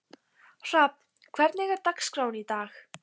Hrafn, hvernig er dagskráin í dag?